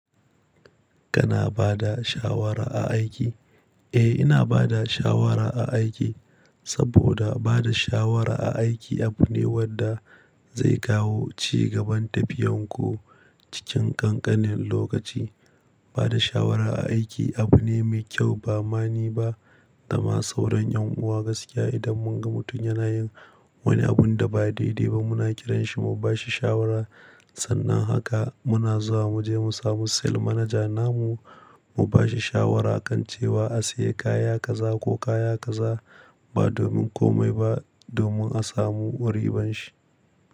Kana bada shawara a aiki? Eh, ina bada shawara a aiki, saboda bada shawara a aiki abu ne wadda zai kawo ci gaban tafiyan ku cikin ƙanƙanin lokaci. Bada shawara a aiki abu ne mai ƙyau ba ma ni ba da ma sauran ƴan uwa gaskiya idan mun ga mutum yana yin wani abunda ba daidai ba muna kiranshi mu bashi shawara. Sannan haka muna zuwa muje mu samu sales manager namu mu bashi shawara akan cewa a sayi kaya kaza ko kaya kaza ba domin komai ba domin a samu wa riban shi.